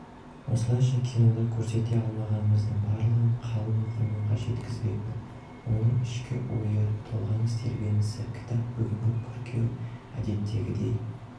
осылайша кинода көрсете алмағанымыздың барлығын қалың оқырманға жеткізбекпін оның ішкі ойы толғаныс-тебіренісі кітап бүгін қыркүйек әдеттегідей